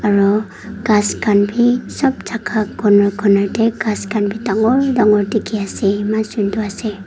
aru ghas khan vi sob jaka conor conor tae ghas khan vi dangor dangor dekhi ase eman sundor ase.